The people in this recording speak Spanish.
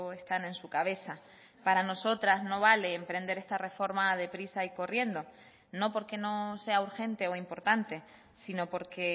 están en su cabeza para nosotras no vale emprender esta reforma de prisa y corriendo no porque no sea urgente o importante sino porque